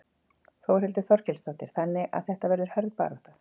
Þórhildur Þorkelsdóttir: Þannig að þetta verður hörð barátta?